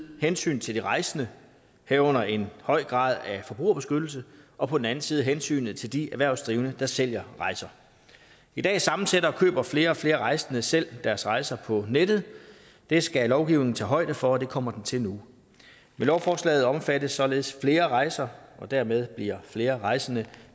hensynet til de rejsende herunder en høj grad af forbrugerbeskyttelse og på den anden side hensynet til de erhvervsdrivende der sælger rejser i dag sammensætter og køber flere og flere rejsende selv deres rejser på nettet det skal lovgivningen tage højde for og det kommer den til nu med lovforslaget omfattes således flere rejser og dermed bliver flere rejsende